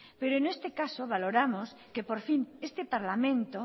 pero en este caso valoramos que por fin este parlamento